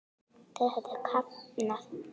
Þau höfðu kafnað.